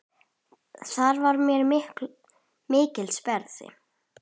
Það var mér mikils virði.